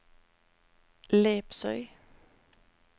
Lepsøy